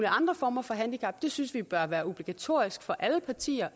andre former for handicap det synes vi bør være obligatorisk for alle partier